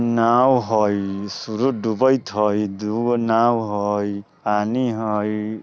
नाव हई सूरुज डूबेएत हई दु गो नाव हई पानी हई।